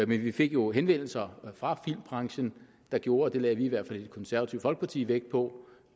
vi fik jo henvendelser fra filmbranchen der gjorde det lagde vi i hvert fald i det konservative folkeparti vægt på